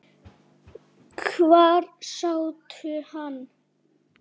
Hvar sástu hann?